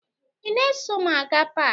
Ị na-eso m aga paakị?